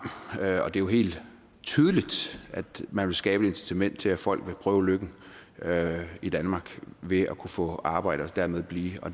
og det er jo helt tydeligt at man vil skabe et incitament til at folk vil prøve lykken i danmark ved at kunne få arbejde og dermed blive og